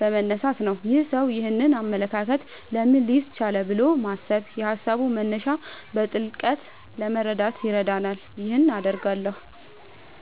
በመነሳት ነው። "ይህ ሰው ይህንን አመለካከት ለምን ሊይዝ ቻለ?" ብሎ ማሰብ የሃሳቡን መነሻ በጥልቀት ለመረዳት ይረዳልና ይህን አደርጋለሁ